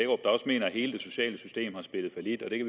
også mener at hele det sociale system har spillet fallit i